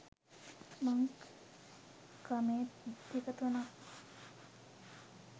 මං කමෙන්ට් දෙක තුනක්